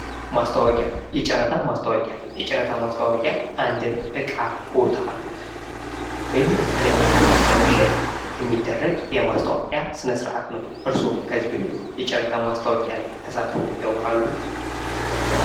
ማስታወቂያ ፦የጨረታ ማስታወቂያ፦ የጨረታ ማስታወቂያ አንድን እቃ ፣ቦታ ወይም የተለየን ነገር ለመሸጥ የሚደርግ የማስታወቂያ ስነስርዓት ነው። እርስዎ ከዚህ በፊት የጨረታ ማስታወቂያ ላይ ተሳትፈው ያውቃሉ?